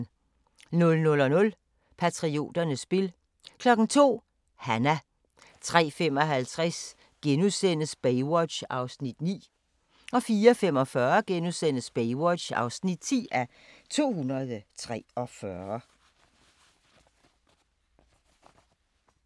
00:00: Patrioternes spil 02:00: Hanna 03:55: Baywatch (9:243)* 04:45: Baywatch (10:243)*